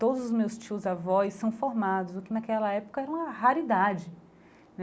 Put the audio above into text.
Todos os meus tios-avós são formados, o que naquela época era uma raridade né.